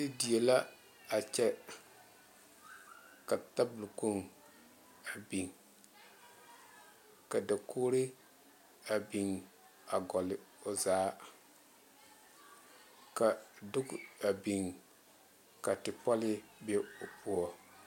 E die la a kyɛ ka taboo kpoŋ a biŋ ka dakogeree a biŋ a hole o zaa ka book a biŋ ka tepɔlee be o poɔ